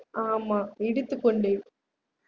ஆமா இடித்துக்கொண்டேன்